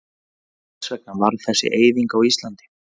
En hvers vegna varð þessi eyðing á Íslandi?